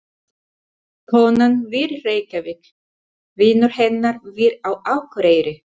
Konan býr í Reykjavík. Vinur hennar býr á Akureyri.